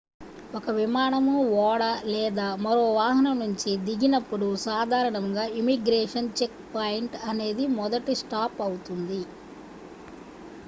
ఒక విమానం ఓడ లేదా మరో వాహనం నుంచి దిగినప్పుడు సాధారణంగా ఇమిగ్రేషన్ చెక్ పాయింట్ అనేది మొదటి స్టాప్ అవుతుంది